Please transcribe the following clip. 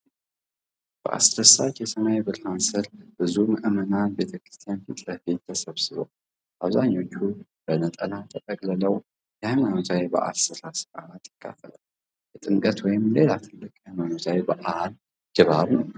በአስደሳች የሰማይ ብርሃን ስር ብዙ ምዕመናን ቤተክርስቲያን ፊት ለፊት ተሰብስበዋል። አብዛኞቹ በነጠላ ተጠቅልለው የሃይማኖታዊ በዓል ሥርዓት ይካፈላሉ። የጥምቀት ወይም ሌላ ትልቅ ሃይማኖታዊ በዓል ድባብ ነው።